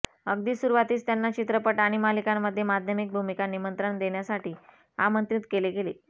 अगदी सुरवातीस त्यांना चित्रपट आणि मालिकांमध्ये माध्यमिक भूमिका निमंत्रण देण्यासाठी आमंत्रित केले गेले